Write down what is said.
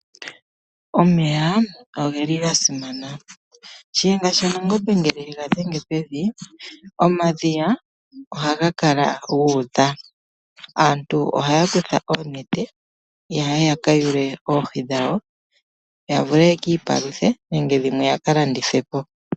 Omeya oga simana keshito alihe. Shiyenga shaNangombe ngele ega dhe pevi omadhiya ohaga kala guudha. Aantu ohaya kutha oonete opo ya ka kwete oohi. Ohadhi vulu okulandithwa nenge aantu yalye naanegumbo lyawo. Oohi odhina uundjolowele kolutu.